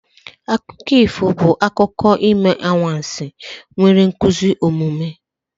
Akụkọ ifo bụ akụkọ ime anwansi nwere nkuzi omume.